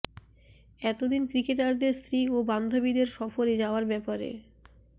এত দিন ক্রিকেটারদের স্ত্রী ও বান্ধবীদের সফরে যাওয়ার ব্যাপারে